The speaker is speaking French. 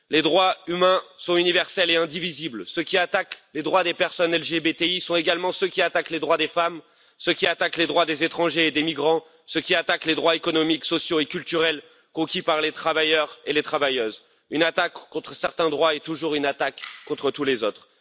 Les droits humains sont universels et indivisibles, ceux qui attaquent les droits des personnes LGBTI sont également ceux qui attaquent les droits des femmes, ceux qui attaquent les droits des étrangers et des migrants, ceux qui attaquent les droits économiques, sociaux et culturels conquis par les travailleurs et les travailleuses. Une attaque contre certains droits est toujours une attaque contre tous les autres.